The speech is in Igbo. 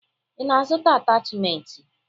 Ị na-azụta atachimentị?